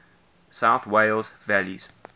south wales valleys